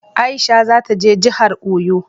Aisha za ta je jahar Oyo